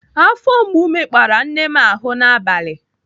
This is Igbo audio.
Afọ mgbu mekpara nne m ahụ n'abalị.